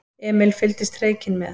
Emil fylgdist hreykinn með.